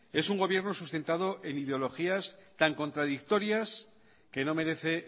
es un gobierno sustentado en ideologías tan contradictorias que no merece